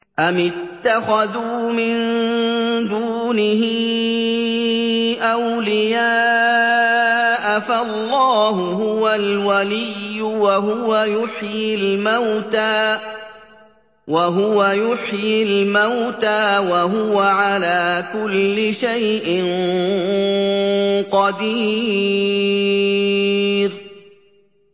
أَمِ اتَّخَذُوا مِن دُونِهِ أَوْلِيَاءَ ۖ فَاللَّهُ هُوَ الْوَلِيُّ وَهُوَ يُحْيِي الْمَوْتَىٰ وَهُوَ عَلَىٰ كُلِّ شَيْءٍ قَدِيرٌ